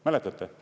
Mäletate?